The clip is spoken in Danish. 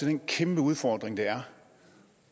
den kæmpeudfordring det er